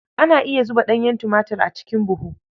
Ana iya zuba ɗanyen tumatir a cikin buhu.